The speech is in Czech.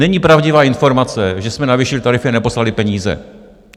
Není pravdivá informace, že jsme navýšili tarify a neposlali peníze.